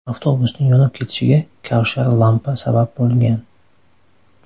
Avtobusning yonib ketishiga kavshar lampa sabab bo‘lgan .